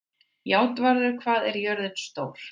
Játvarður, hvað er jörðin stór?